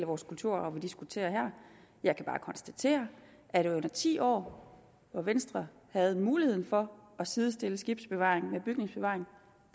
vores kulturarv vi diskuterer her jeg kan bare konstatere at i de ti år hvor venstre havde muligheden for at sidestille skibsbevaring med bygningsbevaring